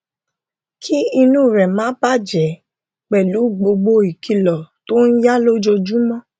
kí inú rẹ má bà a jẹ pẹlú gbogbo ìkìlọ tó ń yá lójoojúmọ